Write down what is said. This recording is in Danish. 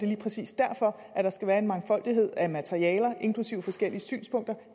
lige præcis derfor at der skal være en mangfoldighed af materialer inklusive forskellige synspunkter